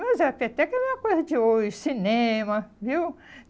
Mas até que era uma coisa de hoje cinema, viu?